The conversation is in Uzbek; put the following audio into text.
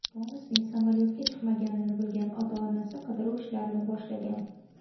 Tomasning samolyotga chiqmaganini bilgan ota-onasi qidiruv ishlarini boshlagan.